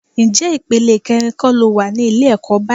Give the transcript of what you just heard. Ǹjẹ́ ìpele kẹrin kọ́ lo wà ní ilé ẹ̀kọ́ báyìí?